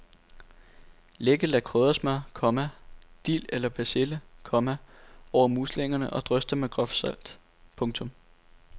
Læg et lag kryddersmør, komma dild eller persille, komma over muslingerne og drys dem med groft salt. punktum